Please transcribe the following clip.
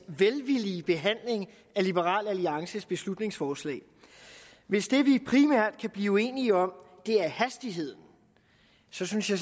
velvillige behandling af liberal alliances beslutningsforslag hvis det vi primært kan blive uenige om er hastigheden synes jeg